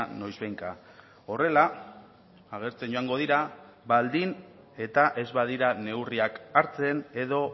noizbehinka horrela agertzen joango dira baldin eta ez badira neurriak hartzen edo